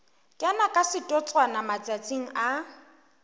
kena ka setotswana matsatsing a